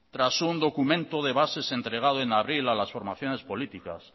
tras un documento de bases entregado en abril a las formaciones políticas